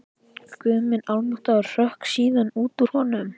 Guð minn almáttugur hrökk síðan út úr honum.